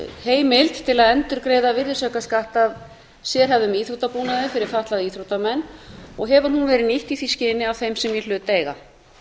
heimild til að endurgreiða virðisaukaskatt af sérhæfðum íþróttabúnaði fyrir fatlaða íþróttamenn og hefur hún verið nýtt í því skyni af þeim sem í hlut eiga